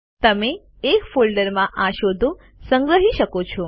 તમે એક ફોલ્ડરમાં આ શોધો સંગ્રહી શકો છો